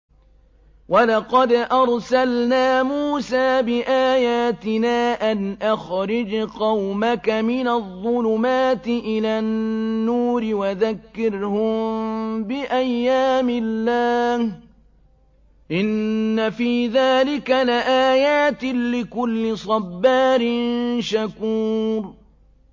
وَلَقَدْ أَرْسَلْنَا مُوسَىٰ بِآيَاتِنَا أَنْ أَخْرِجْ قَوْمَكَ مِنَ الظُّلُمَاتِ إِلَى النُّورِ وَذَكِّرْهُم بِأَيَّامِ اللَّهِ ۚ إِنَّ فِي ذَٰلِكَ لَآيَاتٍ لِّكُلِّ صَبَّارٍ شَكُورٍ